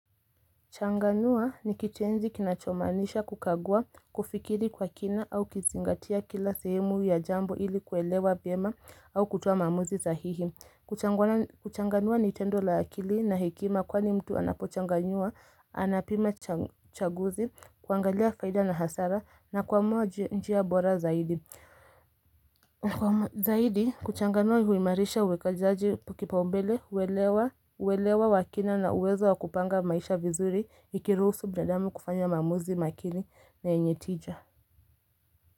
Changanua ni kitenzi kinachomaanisha kukagua, kufikiri kwa kina au kuzingatia kila sehemu ya jambo ili kuelewa vema au kutoa maamuzi sahihi. Kuchanganua ni tendo la akili na hekima kwani mtu anapochanganua, anapima chaguzi, kuangalia faida na hasara na kuamua njia bora zaidi. Zaidi kuchanganua huimarisha uwekezaji kipaumbele uwelewa wa kina na uwezo wa kupanga maisha vizuri ikiruhusu binadamu kufanya maamuzi makili na yenye tija.